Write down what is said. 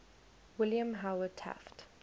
william howard taft